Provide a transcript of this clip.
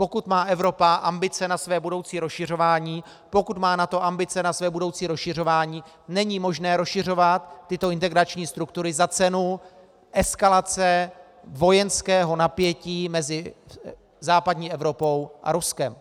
Pokud má Evropa ambice na své budoucí rozšiřování, pokud má NATO ambice na své budoucí rozšiřování, není možné rozšiřovat tyto integrační struktury za cenu eskalace vojenského napětí mezi západní Evropou a Ruskem.